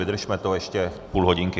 Vydržme to ještě půl hodinky.